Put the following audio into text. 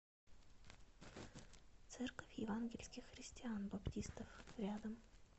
церковь евангельских христиан баптистов рядом